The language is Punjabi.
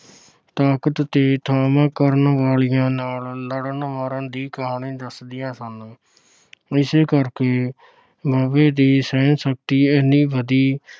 ਤਾਕਤ ਤੇ ਥਾਮਕ ਕਰਨ ਵਾਲਿਆ ਨਾਲ ਲੜਨ ਮਰਨ ਦੀ ਕਹਾਣੀ ਦੱਸਦੀਆਂ ਸਨ। ਇਸੇ ਕਰਕੇ ਦੇ ਸਹਿਣ ਸ਼ਕਤੀ ਇੰਨੀ ਵਧੀ